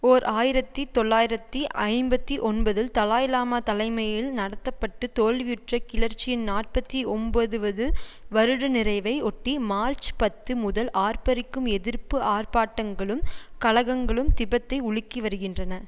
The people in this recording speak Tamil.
ஓர் ஆயிரத்தி தொள்ளாயிரத்தி ஐம்பத்தி ஒன்பதில் தலாய் லாமா தலைமையில் நடத்த பட்டு தோல்வியுற்ற கிளர்ச்சியின் நாற்பத்தி ஒம்பதுவது வருட நிறைவை ஒட்டி மார்ச் பத்து முதல் ஆர்ப்பரிக்கும் எதிர்ப்பு ஆர்ப்பாட்டங்களும் கலகங்களும் திபெத்தை உலுக்கி வருகின்றன